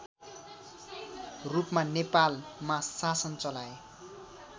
रूपमा नेपालमा शासन चलाए